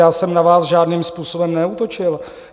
Já jsem na vás žádným způsobem neútočil.